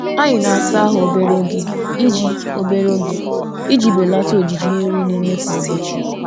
Anyị na-asa ahụ obere oge iji obere oge iji belata ojiji mmiri na-eme kwa ụbọchị.